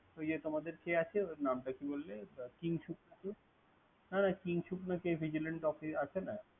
ওইযে কে আছে। মানটা কি বললে। কিংশুক, কিংশুক না কে vigilance officer আছে না।